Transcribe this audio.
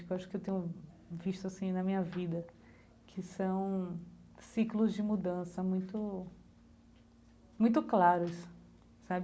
Que eu acho que eu tenho visto assim na minha vida que são ciclos de mudança muito muito claros sabe.